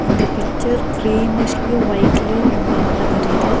இந்த பிட்சர் கிரினிஷ்லயு வைட்லுயு ரொம்ப அழகா தெரியுது.